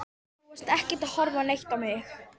Þú varst ekkert að horfa neitt á mig.